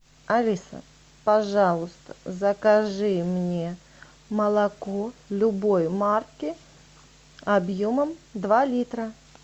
алиса пожалуйста закажи мне молоко любой марки объемом два литра